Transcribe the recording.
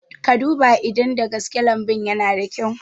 Ka duba in da gaske lambun yana da kyau